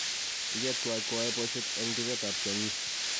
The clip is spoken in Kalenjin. ichet tuwai koyae boishet eng duket ab tiong'ik